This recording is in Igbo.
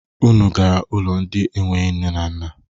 Unu gara ụlọ ndị enweghi nne na nna?